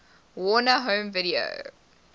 warner home video